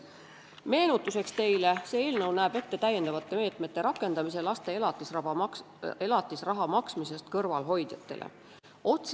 Meenutuseks teile, et see eelnõu näeb ette lisameetmete võtmise laste elatisraha maksmisest kõrvalehoidjate suhtes.